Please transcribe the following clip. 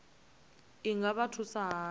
i nga vha thusa hani